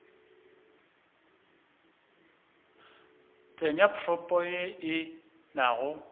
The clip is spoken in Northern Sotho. tsenya propo ye e nago